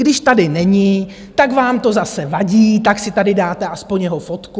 Když tady není, tak vám to zase vadí, tak si tady dáte aspoň jeho fotku.